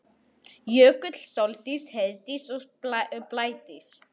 Jökull, Sóldís, Heiðdís og Blædís.